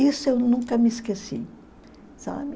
Isso eu nunca me esqueci. Sabe?